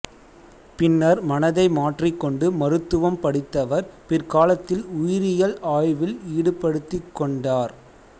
பின்னர் மனதை மாற்றிக்கொண்டு மருத்துவம் படித்தவர் பிற்காலத்தில் உயிரியல் ஆய்வில் ஈடுபடுத்திக்கொண்டார்